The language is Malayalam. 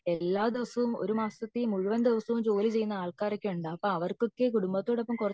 എല്ലാ ദിവസവും ഒരു മാസത്തിൽ മുഴുവൻ ദിവസവും ജോലി ചെയ്യുന്ന ആൾക്കാരൊക്കെ ഉണ്ട് അപ്പൊ അവർക്കൊക്കെ കുടുംബത്തോടൊപ്പം